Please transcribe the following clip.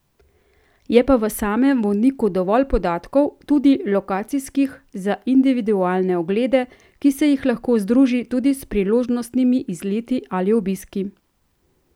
Je pa v samem vodniku dovolj podatkov, tudi lokacijskih, za individualne oglede, ki se jih lahko združi tudi s priložnostnimi izleti ali obiski.